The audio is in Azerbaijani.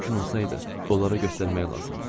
Mümkün olsaydı, onlara göstərmək lazımdır.